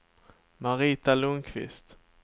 Marita Lundqvist